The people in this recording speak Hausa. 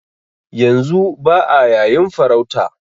Yanzu ba'a yayin farauta